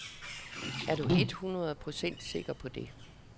Er du eet hundrede procent sikker på det.